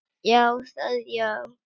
Já, það já.